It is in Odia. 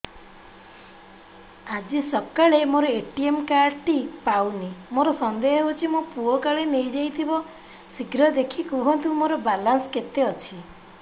ଆଜି ସକାଳେ ମୋର ଏ.ଟି.ଏମ୍ କାର୍ଡ ଟି ପାଉନି ମୋର ସନ୍ଦେହ ହଉଚି ମୋ ପୁଅ କାଳେ ନେଇଯାଇଥିବ ଶୀଘ୍ର ଦେଖି କୁହନ୍ତୁ ମୋର ବାଲାନ୍ସ କେତେ ଅଛି